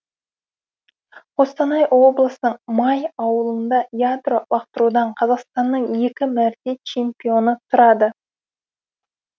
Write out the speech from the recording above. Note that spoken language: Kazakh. қостанай облысының май ауылында ядро лақтырудан қазақстанның екі мәрте чемпионы тұрады